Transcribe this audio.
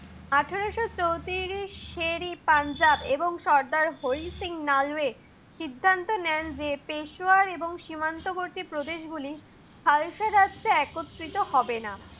আঠারোশ চৌত্রিশ এ পাঞ্জাব এবং সর্দার হরি সিং নালওয়ে সিদ্ধান্ত নেন যে, পেশওয়ার এবং সিমান্ত বর্তী প্রদেশগুলো হালসা রাজ্যে একত্রিত হবেনা।